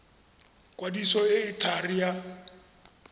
kwadiso e e thari ya